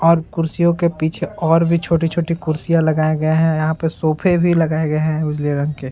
और कुर्सियों के पीछे और भी छोटी-छोटी कुर्सियाँ लगाए गए हैं यहाँ पे सोफे भी लगाए गए हैं उजले रंग के।